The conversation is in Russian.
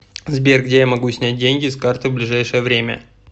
сбер где я могу снять деньги с карты в ближайшее время